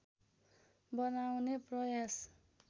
बनाउने प्रयास